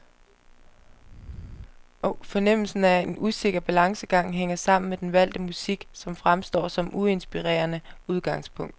Fornemmelsen af usikker balancegang hænger sammen med den valgte musik, som fremstår som uinspirerende udgangspunkt.